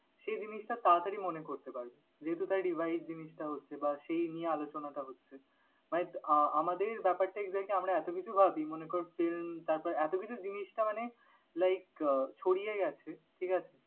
সে জিনিসটা তাড়াতাড়ি মনে করতে পারবে। যেহেতু তার revised জিনিসটা হচ্ছে বা সেই নিয়ে আলোচনাটা হচ্ছে but আহ আমাদের ব্যাপারটা exactly আমরা এতো কিছু ভাবি মনে কর film তারপর এতকিছু জিনিসটা মানে like আহ ছড়িয়ে গেছে, ঠিক আছে?